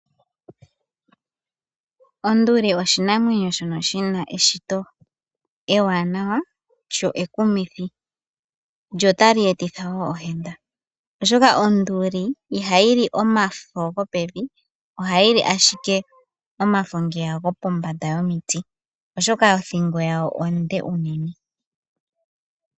Onduli oshinamwenyo shono shi na eshito ewanawa lyo ekumithi lyo otali etitha wo ohenda oshoka onduli ihayi li omafo gopevi ohayi li ashike omafo ngeya gopombanda yomiti oshoka othingo yawo onde unene.